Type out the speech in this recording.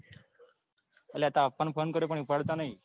અલ્યા તાર પાપા ને phone કર્યો પણ ઉપાડતા નથી.